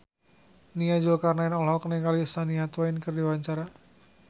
Nia Zulkarnaen olohok ningali Shania Twain keur diwawancara